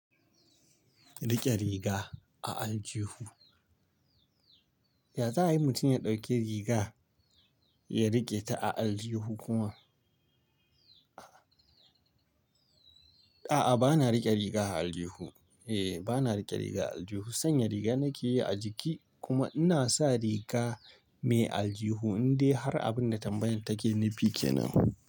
Rike riga a aljihu. Ya za'a yi mutum ya ɗauki riga ya rike ta a aljihu kuma? A'a, bana rike riga a aljihu. Eh, bana rike riga a aljihu. Sanya riga nake yi a jiki kuma ina sa riga mai aljihu in dai har abin da tambayar take nufi kenan.